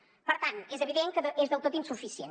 per tant és evident que és del tot insuficient